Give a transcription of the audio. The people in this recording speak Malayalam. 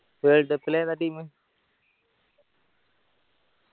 world cup ല് ഏതാ team